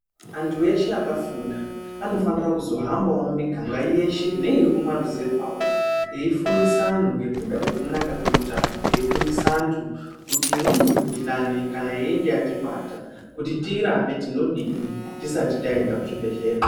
Anthu eshe akafunda anofanira kuzohambawo mumuganga yeshe neyemumaruzevha veifundisa anhu ngekuda kwekunaka kweutano ,eifundisa anhu kuti imweni mikhuhlani kana yechinge yatibata tinodini tisati taenda kuchibhehlera.